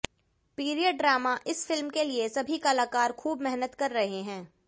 period drama इस film के लिए सभी कलाकार खूब मेहनत कर रहे हैं